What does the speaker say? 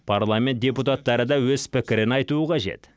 парламент депутаттары да өз пікірін айтуы қажет